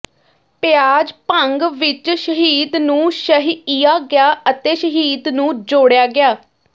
ਪਿਆਜ਼ ਭੰਗ ਵਿੱਚ ਸ਼ਹਿਦ ਨੂੰ ਸ਼ਹਿਇਆ ਗਿਆ ਅਤੇ ਸ਼ਹਿਦ ਨੂੰ ਜੋੜਿਆ ਗਿਆ